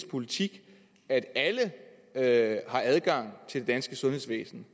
politik at at alle har adgang til det danske sundhedsvæsen